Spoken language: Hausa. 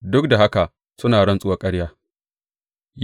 duk da haka suna rantsuwar ƙarya.